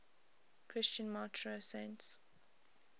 christian martyr saints